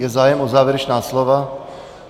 Je zájem o závěrečná slova?